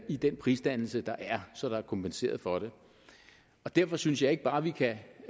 i den prisdannelse der er så der er kompenseret for det derfor synes jeg ikke bare at vi kan